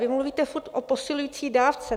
Vy mluvíte furt o posilující dávce.